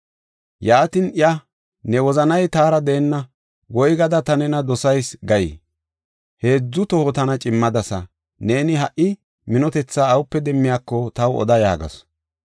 Yaatin iya, “Ne wozanay taara deenna, ‘Woygada ta nena dosayis’ gay? Heedzu toho tana cimmadasa. Neeni ha minotethaa awupe demmiyako taw oda” yaagasu.